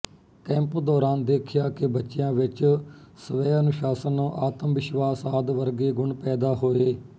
camp ਦੌਰਾਨ ਦੇਖਿਆ ਕਿ ਬੱਚਿਆਂ ਵਿੱਚ ਸਵੈਅਨੁਸ਼ਾਸਨ ਆਤਮਵਿਸ਼ਵਾਸ ਆਦਿ ਵਰਗੇ ਗੁਣ ਪੈਦਾ ਹੋਏ